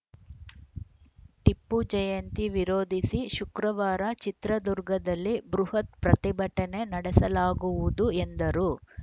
ಟಿಪ್ಪು ಜಯಂತಿ ವಿರೋಧಿಸಿ ಶುಕ್ರವಾರ ಚಿತ್ರದುರ್ಗದಲ್ಲಿ ಬೃಹತ್‌ ಪ್ರತಿಭಟನೆ ನಡೆಸಲಾಗುವುದು ಎಂದರು